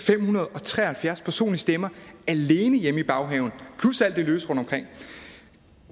fem hundrede og tre og halvfjerds personlige stemmer alene hjemme i baghaven plus alt det løse rundtomkring